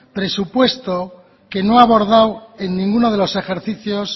presupuesto que no ha abordado en ninguno de los ejercicios